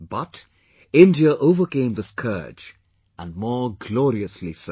But India overcame the scourge, and more gloriously so